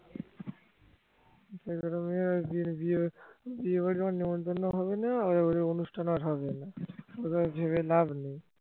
যে কটা মেয়ের বিয়ে বাড়ির যখন নিমন্ত্রণ হবে না অনুষ্ঠান আর হবে না ওইসব ভেবে আর লাভ নেই